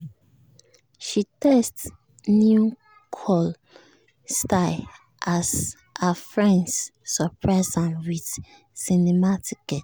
she test new curl style as her friends surprise am with cinema ticket.